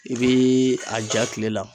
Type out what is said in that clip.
I biii a ja kile la